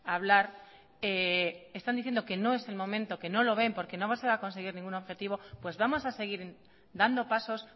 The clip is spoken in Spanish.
a hablar están diciendo que no es el momento que no lo ven porque no se va a conseguir ningún objetivo pues vamos a seguir dando pasos